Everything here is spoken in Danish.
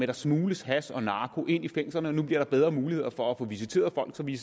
der smugles hash og narko ind i fængslerne nu bliver der bedre muligheder for at få visiteret folk så vi